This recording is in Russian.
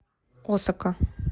осака